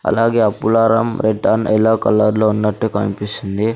అలాగే ఆ పులారం రెట్ అన్ ఎల్లో కలర్లో ఉన్నట్టు కన్పిస్తుంది.